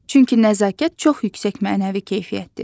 Çünki nəzakət çox yüksək mənəvi keyfiyyətdir.